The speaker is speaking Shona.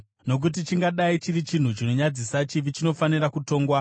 Nokuti chingadai chiri chinhu chinonyadzisa, chivi chinofanira kutongwa.